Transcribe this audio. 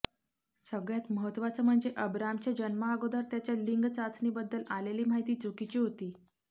सगळ्यात महत्त्वाचं म्हणजे अबरामच्या जन्माअगोदर त्याच्या लिंग चाचणीबद्दल आलेली माहिती चुकीची होती